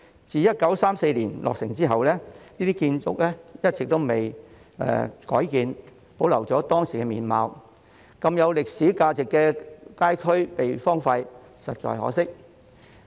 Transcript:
自1934年落成後，這些建築一直未有改建，保留了當時的面貌，如此有歷史價值的街區被荒廢，實在可惜。